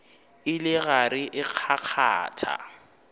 e le gare e kgakgatha